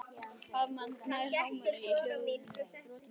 Harmsagan nær hámarki í ljóðinu Brotinn spegill.